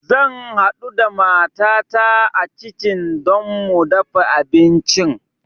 Zan haɗu da matata a kitchen don mu dafa abincin